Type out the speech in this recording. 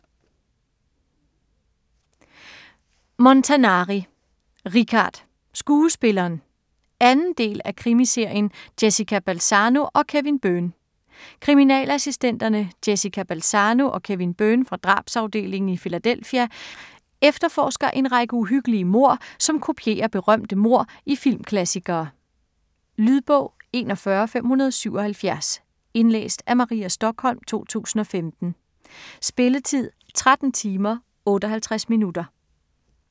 Montanari, Richard: Skuespilleren 2. del af krimiserien Jessica Balzano & Kevin Byrne. Kriminalassistenterne Jessica Balzano og Kevin Byrne fra drabsafdelingen i Philadelphia efterforsker en række uhyggelige mord, som kopierer berømte mord i filmklassikere. Lydbog 41577 Indlæst af Maria Stokholm, 2015. Spilletid: 13 timer, 58 minutter.